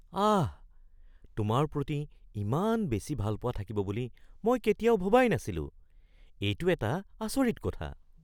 আহ! তোমাৰ প্ৰতি ইমান বেছি ভালপোৱা থাকিব বুলি মই কেতিয়াও ভবাই নাছিলো। এইটো এটা আচৰিত কথা।